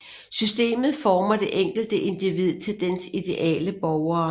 Systemet former det enkelte individ til dens ideale borgere